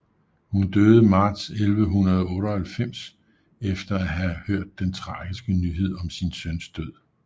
Hun døde marts 1198 efter at have hørt den tragiske nyhed om sin søns død